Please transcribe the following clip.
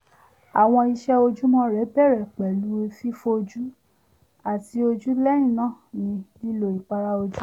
àwọn ìṣe ojoojúmọ́ rẹ̀ bẹ̀rẹ̀ pẹ̀lú fífọjú àti nínu ojú lẹ́yìn náà ni lílo ìpara ojú